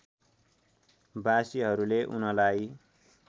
बासीहरूले उनलाई